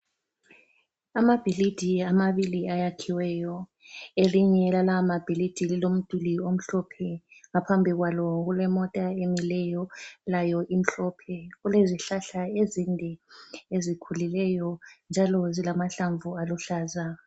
Amabhilidi amabili ayakhiweyo elinye lalawa mabhilidi lilomdulu omhlophe ngaphambi kwalo kule mota emileyo layo imhlophe , kulezihlahla ezinde ezikhulileyo njalo zilamahlamvu aluhlaza